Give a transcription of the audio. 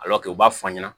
u b'a fɔ an ɲɛna